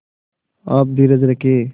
आप धीरज रखें